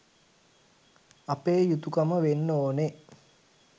අපේ යුතුකම වෙන්න ඕනෙ.